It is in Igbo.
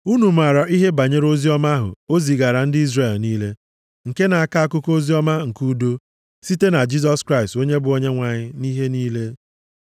Unu maara ihe banyere oziọma ahụ o zigaara ndị Izrel niile, nke na-akọ akụkọ oziọma nke udo site na Jisọs Kraịst onye bụ Onyenwe anyị nʼihe niile.